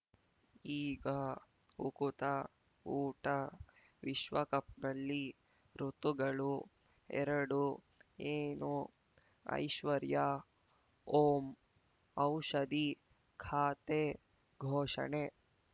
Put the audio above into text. ಈಗ ಉಕುತ ಊಟ ವಿಶ್ವಕಪ್‌ನಲ್ಲಿ ಋತುಗಳು ಎರಡು ಏನು ಐಶ್ವರ್ಯಾ ಓಂ ಔಷಧಿ ಖಾತೆ ಘೋಷಣೆ